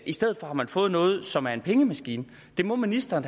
i stedet for har man fået noget som er en pengemaskine det må ministeren